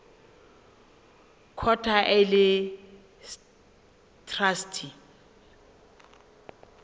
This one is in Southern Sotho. court ha e le traste